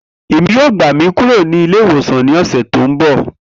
Emi yoo gba mi kuro ni ile-iwosan ni ọsẹ ti n bọ.